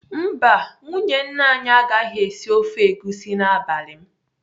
Mba, nwunye nna anyị agaghị esi ofe egusi n'abalị m